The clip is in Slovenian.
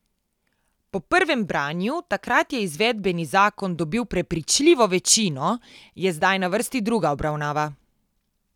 Po prvem branju, takrat je izvedbeni zakon dobil prepričljivo večino, je zdaj na vrsti druga obravnava.